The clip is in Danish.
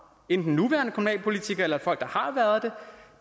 enten nuværende kommunalpolitikere eller folk der har været